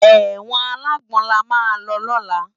Ewòn àlágbòn làmá lò lòlá